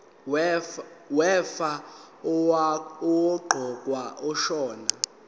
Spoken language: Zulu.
wefa owaqokwa ashona